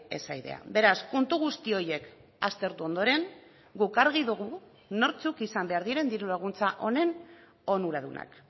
esa idea beraz kontu guzti horiek aztertu ondoren guk argi dugu nortzuk izan behar diren diru laguntza honen onuradunak